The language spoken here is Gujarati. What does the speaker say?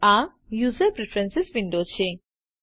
આ યુઝર પ્રીફ્રેન્સીસ વિન્ડો છે